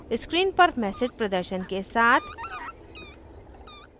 screen पर message प्रदर्शन के साथ